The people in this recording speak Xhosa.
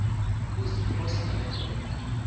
kuziphosa yedwa empini